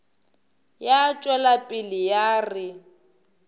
ya tšwela pele ya re